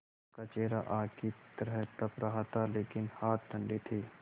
उनका चेहरा आग की तरह तप रहा था लेकिन हाथ ठंडे थे